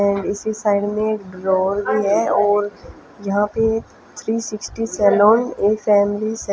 है इसी साइड में एक ड्रॉवर भी है और यहां पे थ्री सिक्सटी सैलून से--